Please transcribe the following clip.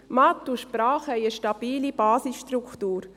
Mathe und Sprachen haben eine stabile Basisstruktur.